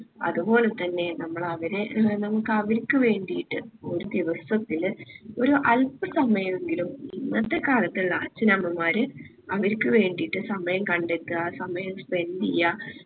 അതുപോലെതന്നെ നമ്മൾ അവരെ നമ്മുക്ക് അവർക്ക് വേണ്ടിയിട്ട് ഒരു ദിവസത്തില് ഒരു അൽപ സമയെങ്കിലും ഇന്നത്തെ കാലത്ത് അച്ഛനമ്മമാര് അവർക്ക് വേണ്ടിയിട്ട് സമയം കണ്ടെത്ത സമയം spend എയ്യാ